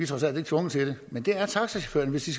trods alt ikke tvunget til det men det er taxachaufførerne hvis de